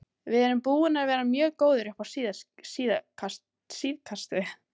Við erum búnir að vera mjög góðir upp á síðkastið.